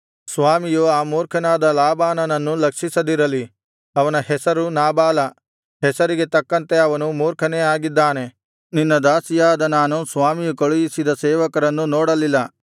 ಸ್ವಾಮಿಯು ಆ ಮೂರ್ಖನಾದ ನಾಬಾಲನನ್ನು ಲಕ್ಷಿಸದಿರಲಿ ಅವನ ಹೆಸರು ನಾಬಾಲ ಹೆಸರಿಗೆ ತಕ್ಕಂತೆ ಅವನು ಮೂರ್ಖನೇ ಆಗಿದ್ದಾನೆ ನಿನ್ನ ದಾಸಿಯಾದ ನಾನು ಸ್ವಾಮಿಯು ಕಳುಹಿಸಿದ ಸೇವಕರನ್ನು ನೋಡಲಿಲ್ಲ